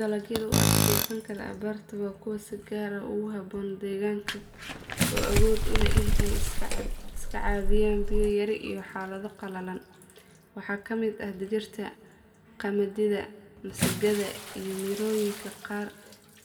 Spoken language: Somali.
Dalagyada u adkeysan kara abaarta waa kuwa si gaar ah ugu habboon deegaanka oo awood u leh inay iska caabiyaan biyo yari iyo xaalado qallalan. Waxaa ka mid ah digirta, qamadiga, masagada iyo mirooyinka qaar